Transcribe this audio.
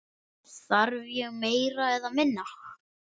Þarf ég meira eða minna?